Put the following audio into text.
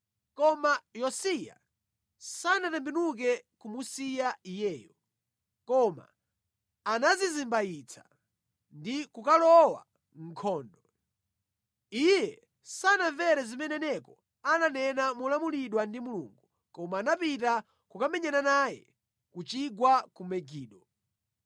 Komabe Yosiya sanatembenuke kumusiya iyeyo, koma anadzizimbayitsa ndi kukalowa mʼnkhondo. Iye sanamvere zimene Neko ananena molamulidwa ndi Mulungu koma anapita kukamenyana naye ku chigwa ku Megido.